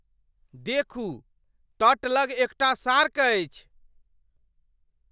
देखू! तट लग एकटा शार्क अछि!